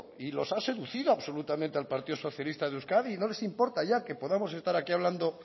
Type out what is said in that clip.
y los ha seducido absolutamente al partido socialista de euskadi y no les importa ya que podamos estar aquí hablando